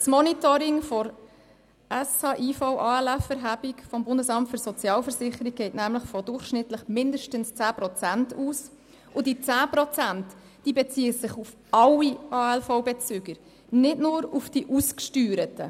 Das Monitoring der Sozialhilfe, Invalidenversicherung und Arbeitslosenversicherung (SHIVALV-Erhebung) des Bundesamts für Sozialversicherungen (BSV) geht nämlich von durchschnittlich mindestens 10 Prozent aus, und diese 10 Prozent beziehen sich auf alle Leistungsbezüger der Arbeitslosenversicherung (ALV) und nicht nur auf die ausgesteuerten.